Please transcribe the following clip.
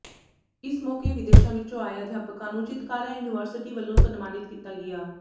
ਇਸ ਮੌਕੇ ਵਿਦੇਸ਼ਾਂ ਵਿੱਚੋਂ ਆਏ ਅਧਿਆਪਕਾਂ ਨੂੰ ਚਿਤਕਾਰਾ ਯੂਨੀਵਰਸਿਟੀ ਵੱਲੋਂ ਸਨਮਾਨਿਤ ਕੀਤਾ ਗਿਆ